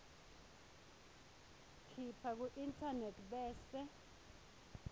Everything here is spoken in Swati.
khipha kuinternet bese